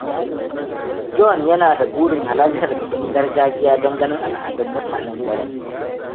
John yana da burin halartar bikin gargajiya don ganin al’adun mutanen garin.